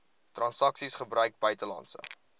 transaksies gebruik buitelandse